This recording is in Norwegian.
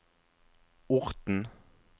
Orten